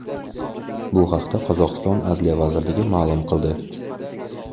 Bu haqda Qozog‘iston adliya vazirligi ma’lum qildi .